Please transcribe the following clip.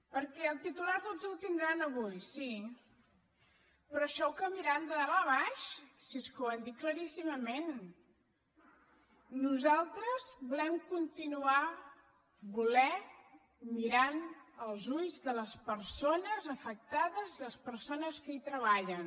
perquè el titular tots el tindran avui sí però això ho canviaran de dalt a baix si és que ho han dit claríssimament nosaltres volem continuar volent mirar als ulls de les persones afectades i les persones que hi treballen